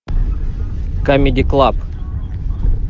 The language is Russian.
камеди клаб